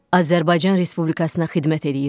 Azərbaycan Respublikasına xidmət eləyirəm.